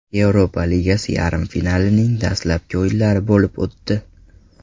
Yevropa Ligasi yarim finalining dastlabki o‘yinlari bo‘lib o‘tdi.